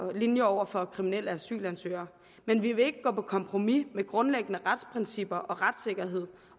linje over for kriminelle asylansøgere men vi vil ikke gå på kompromis med grundlæggende retsprincipper og retssikkerhed